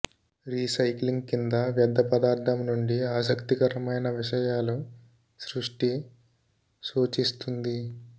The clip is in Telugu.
రీసైక్లింగ్ కింద వ్యర్ధ పదార్ధం నుండి ఆసక్తికరమైన విషయాలు సృష్టి సూచిస్తుంది